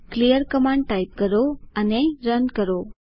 clear command type કરો અને canvas સાફ કરવા માટે રન કરો